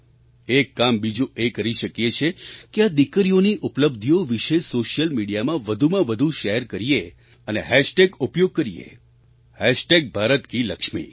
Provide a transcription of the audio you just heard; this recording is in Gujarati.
એક કામ બીજું એ કરી શકીએ છીએ કે આ દીકરીઓની ઉપલબ્ધિઓ વિશે સૉશિયલ મિડિયામાં વધુમાં વધુ શૅર કરીએ અને હૅશટેગ ઉપયોગ કરીએ ભારતકિલક્ષ્મી ભારત કી લક્ષ્મી